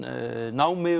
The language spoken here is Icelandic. námi